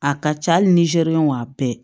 A ka ca hali ni zɛriwan bɛɛ